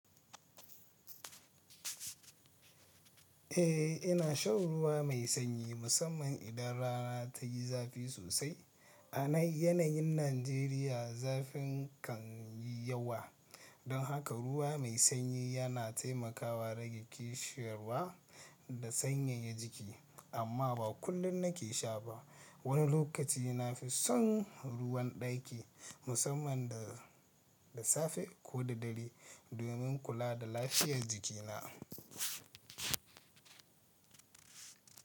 Eh, ina shan ruwa mai sanyi musamman idan rana ta yi zafi sosai. A yanayin Najeriya, zafin kan yi yawa, don haka ruwa mai sanyi yana taimakawa rage ƙishin ruwa da sanyaya jiki. Amma ba kullum nake sha ba. Wani lokaci na fi son ruwan ɗaki, musamman da da safe ko da dare, domin kula da lafiyar jikina.